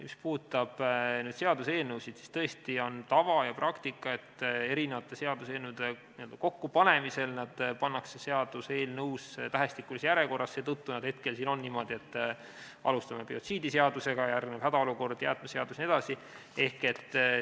Mis puudutab seaduseelnõusid, siis tõesti on tava ja praktika, et seaduseelnõude n-ö kokkupanemisel nad pannakse eelnõusse tähestikulises järjekorras, seetõttu nad hetkel siin on niimoodi, et alustame biotsiidiseadusega, järgneb hädaolukorra seadus, jäätmeseadus jne.